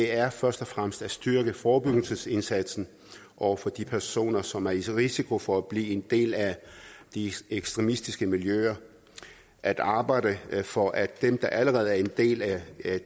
er først og fremmest at styrke forebyggelsesindsatsen over for de personer som er i risiko for at blive en del af de ekstremistiske miljøer at arbejde for at dem der allerede er en del af